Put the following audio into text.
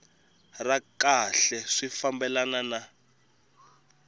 ra kahle swi fambelana na